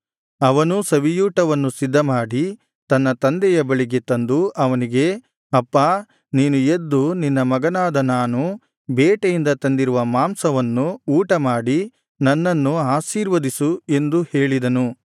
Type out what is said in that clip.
ಅವನೂ ಸವಿಯೂಟವನ್ನು ಸಿದ್ಧಮಾಡಿ ತನ್ನ ತಂದೆಯ ಬಳಿಗೆ ತಂದು ಅವನಿಗೆ ಅಪ್ಪಾ ನೀನು ಎದ್ದು ನಿನ್ನ ಮಗನಾದ ನಾನು ಬೇಟೆಯಿಂದ ತಂದಿರುವ ಮಾಂಸವನ್ನು ಊಟಮಾಡಿ ನನ್ನನ್ನು ಆಶೀರ್ವದಿಸು ಎಂದು ಹೇಳಿದನು